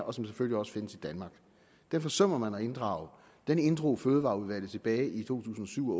og som selvfølgelig også findes i danmark den forsømmer man at inddrage den inddrog fødevareudvalget tilbage i to tusind og syv